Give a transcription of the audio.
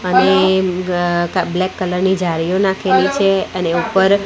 અને મ્ ગ ક બ્લેક કલર ની જાળીઓ નાખેલી છે અને ઉપર --